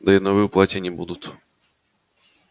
да и новые платья не будут